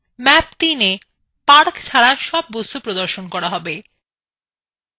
map ৩এ park ছাড়া সব বস্তু প্রদর্শন করা যাক